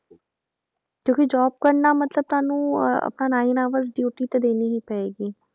ਕਿਉਂਕਿ job ਕਰਨਾ ਮਤਲਬ ਤੁਹਾਨੂੰ ਅਹ ਆਪਣਾ nine hour duty ਤੇ ਦੇਣੀ ਹੀ ਪਏਗੀ